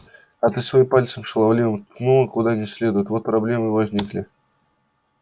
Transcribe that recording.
а ты своим пальцем шаловливым ткнула куда не следует вот проблемы и возникли